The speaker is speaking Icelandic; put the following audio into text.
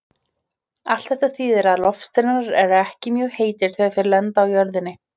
Allt þetta þýðir að loftsteinar eru ekki mjög heitir þegar þeir lenda á jörðinni.